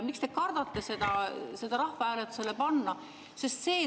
Miks te kardate seda rahvahääletusele panna?